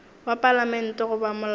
wa palamente goba molao wa